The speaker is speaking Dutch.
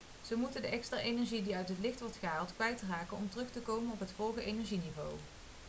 ze moeten de extra energie die uit het licht wordt gehaald kwijtraken om terug te komen op het vorige energieniveau